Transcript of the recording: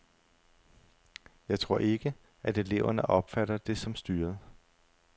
Jeg tror ikke, at eleverne opfatter det som styret.